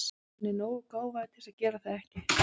Hann er nógu gáfaður til að gera það ekki.